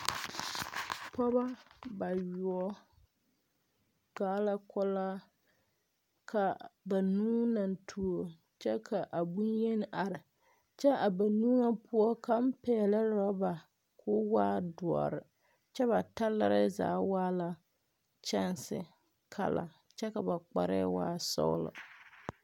Pɔgeba bayoɔ gaa la kulaa ka banuu a tuo kyɛ ka bonyeni a are kyɛ a banuu nyɛ poɔ kaŋ pɛglɛɛ orɔba k,o waa dɔre kyɛ ba talɛrɛ zaa waa la kyɛnse kala kyɛ ka ba kparɛɛ waa sɔgla.